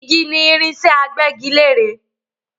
Igi ni irinsẹ́ agbẹ́gilẹ́re